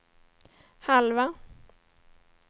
halva